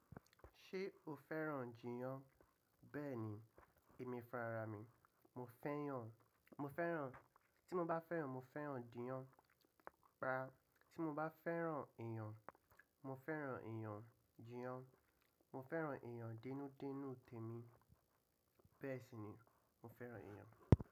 Ṣé o fẹ́ràn jiiyan? Bẹ́ẹ̀ni, èmi farami, mo fẹ́yàn, mo fẹ́ràn, tí mo bá fẹ́ràn, mo fẹ́ràn jiiyan. Rárá, tí mo bá fẹ́ràn èèyàn, mo fẹ́ràn èèyàn, jiiyan. Mo fẹ́ràn èèyàn dẹ́nú dẹ́nú tèemi. Bẹ́ẹ̀ sì ni mo fẹ́ràn èèyàn.